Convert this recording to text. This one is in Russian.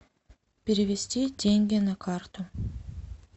перевести деньги на карту